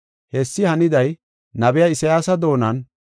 Hessi haniday nabiya Isayaasa doonan,